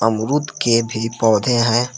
अमरूद के भी पौधे हैं।